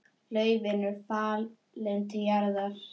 Laufin eru fallin til jarðar.